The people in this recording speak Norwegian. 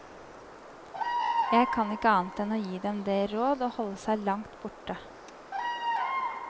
Jeg kan ikke annet enn gi dem det råd å holde seg langt borte.